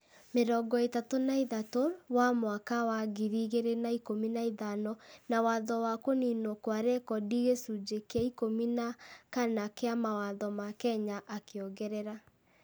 ... mĩrongo ĩtatũ na ithatũ wa mwaka wa ngiri igĩrĩ na ikũmi na ithano, na watho wa kũniinwo kwa rekondi gĩcunjĩ kĩa ikũmi na kana kĩa mawatho ma Kenya, akĩongerera.